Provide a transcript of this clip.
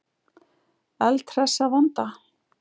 Eldhress að vanda.